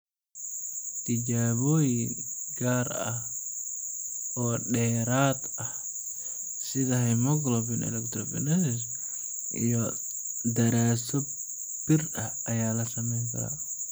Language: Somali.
Tijaabooyin gaar ah oo dheeraad ah, sida hemoglobin electrophoresis iyo daraasado bir ah ayaa la samayn karaa.